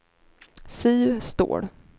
Siv Ståhl